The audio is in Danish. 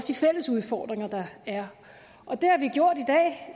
de fælles udfordringer der er